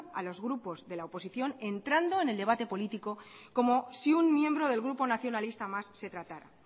a los grupos de la oposición y entrando en el debate político como si un miembro del grupo nacionalista más se tratara